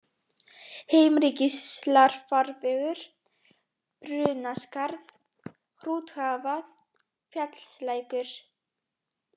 Heimrikvíslarfarvegur, Brunaskarð, Hrúthagavað, Fjallslækur